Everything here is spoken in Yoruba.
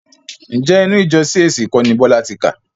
Ǹjẹ́ inú ìjọ CAC kọ́ ni Bọ́lá ti kà?